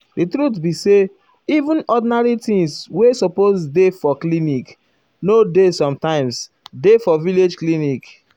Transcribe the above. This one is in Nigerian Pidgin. um di truth be say even ordinary things wey supose dey for um clinic nor dey sometimes dey for village clinic.